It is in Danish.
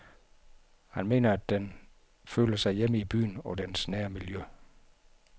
Han mener at den føler sig hjemme i byen og dens nære miljø.